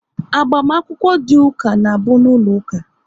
Agbamakwụkwọ dị ụka na bụ n'ụlọ ụka